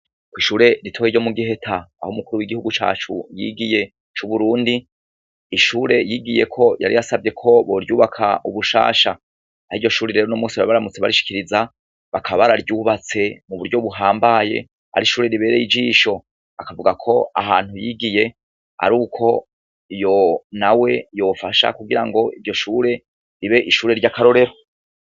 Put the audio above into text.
Ko ishure ritoye ryo mu giheta aho umukuru w'igihugu cacu yigiye c'uburundi ishure yigiye ko yari yasavye ko boryubaka ubushasha ari ryo shure rero no musi arabaramutse barishikiriza bakabara ryubatse mu buryo buhambaye ari ishure ribereye ijisho akavuga ko ahantu yigiye ari uko yo na we yofasha kugira ngo iryo shure ribe ishure ry'akarorero.